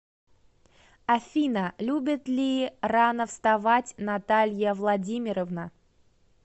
афина любит ли рано вставать наталья владимировна